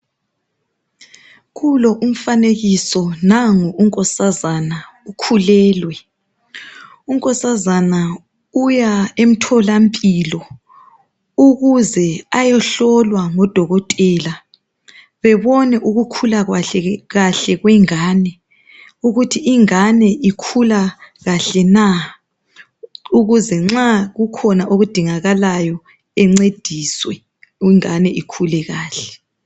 Kulo umfanekiso nangu unkosazana ukhulelwe. Unkosazana uya emtholampilo ukuze ayehlolwa ngodokotela bebone ukukhula kahle kwengane ukuthi ingane ikhula kahle na ukuze nxa kukhona okudingakalayo ancediswe ukuze ingane ikhula kahle.